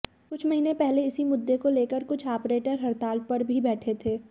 कुछ महीने पहले इसी मुद्दे को लेकर कुछ आपरेटर हड़ताल पर भी बैठे थे